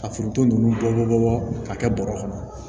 Ka foronto ninnu bɔ bɔ bɔbɔ ka kɛ bɔrɛ kɔnɔ